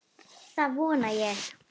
Það vona ég